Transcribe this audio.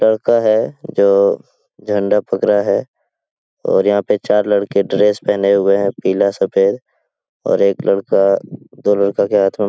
लड़का है जो झंडा फेक रहा हैं और यहाँ पे चार लड़के ड्रेस पहने हुए हैं पीला सफ़ेद और एक लड़का दो लड़का के हाथो में --